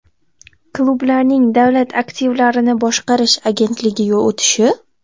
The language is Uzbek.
Klublarning Davlat aktivlarini boshqarish agentligiga o‘tishi?